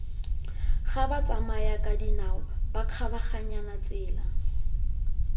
fa batsamayakadinao ba kgabaganyang tsela